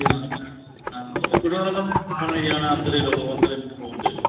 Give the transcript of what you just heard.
ਜਿੰਨਾ ਦੇ ਵਿੱਚ ਹਾਂ ਫੇਰ ਉਹਨਾ ਨੇ ਕਹਿਣਾ ਬਾਹਰ ਨੀ ਜਾਣਾ ਅੰਦਰ ਹੀ ਰਹੋ ਅੰਦਰ ਹੀ phone ਦੇਦੋ